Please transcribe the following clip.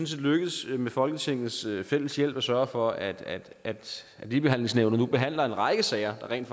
set lykkedes med folketingets hjælp at sørge for at ligebehandlingsnævnet nu behandler en række sager der rent